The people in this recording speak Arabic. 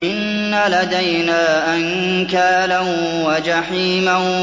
إِنَّ لَدَيْنَا أَنكَالًا وَجَحِيمًا